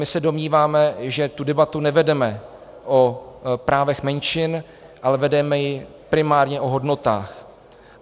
My se domníváme, že tu debatu nevedeme o právech menšin, ale vedeme ji primárně o hodnotách.